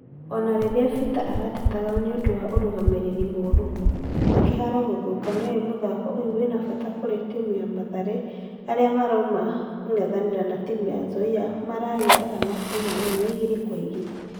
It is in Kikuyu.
Ona rĩrĩa peter aratetaga nĩũndũ wa ũrũgamĩrĩri mũru na kĩharo gĩthũku nĩowe mũthako ũyo wena fata kũri timu ya mathare, arĩa marauma kũngethanĩra na timu ya nzoia maragĩe arama ciakũiganana igĩri gwa igĩri